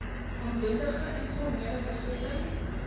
onwettige informele besetting